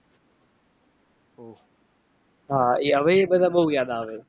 હા હવે એ બધા બહુ યાદ આવે છે.